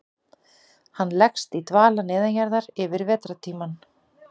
Hann leggst í dvala neðanjarðar yfir vetrartímann.